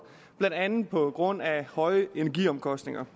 blandt andet på grund af høje energiomkostninger